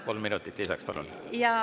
Kolm minutit lisaks, palun!